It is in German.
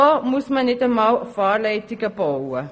So müssen nicht einmal Fahrleitungen gebaut werden.